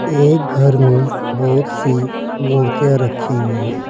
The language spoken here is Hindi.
ए घर में बहोत सी मूर्तियां रखी हुई है।